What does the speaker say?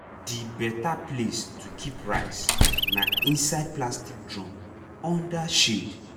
the better place to keep rice na inside plastic drum under shade.